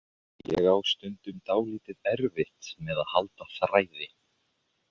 Ég á stundum dálítið erfitt með að halda þræði.